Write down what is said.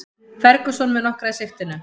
Ferguson með nokkra í sigtinu